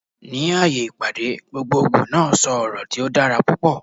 Ni aaye ipade, gbogboogbo naa sọ ọrọ ti o dara pupọ